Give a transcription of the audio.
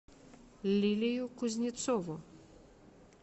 лилию кузнецову